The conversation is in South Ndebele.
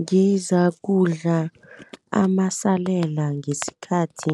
Ngizakudla amasalela ngesikhathi